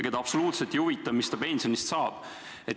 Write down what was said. Teda absoluutselt ei huvita, mis tema pensionipõlvest saab.